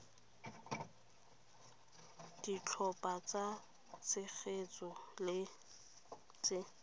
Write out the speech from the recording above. ditlhopha tsa tshegetso le tse